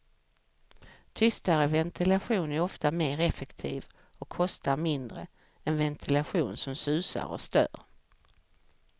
Tystare ventilation är ofta mer effektiv och kostar mindre än ventilationen som susar och stör.